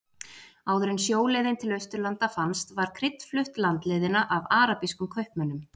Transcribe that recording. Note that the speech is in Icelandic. Áður en sjóleiðin til Austurlanda fannst var krydd flutt landleiðina af arabískum kaupmönnum.